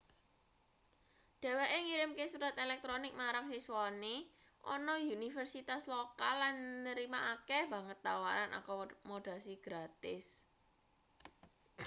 dheweke ngirimke surat elektronik marang siswane ana universitas lokal lan nrima akeh banget tawaran akomodasi gratis